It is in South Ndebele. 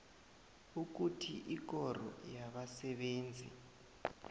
ukuthi ikoro yabasebenzi